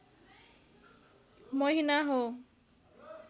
महिना हो